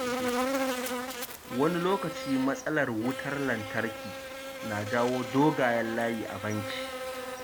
Wani lokaci, matsalar wutar lantarki na jawo dogayen layi a banki.